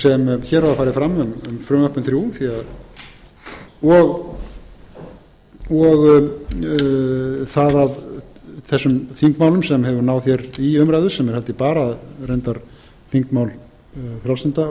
sem hér hafa farið fram um frumvörpin þrjú og það að þessum þingmálum í umræðu sem er held ég bara reyndar þingmál frjálslynda flokksins þá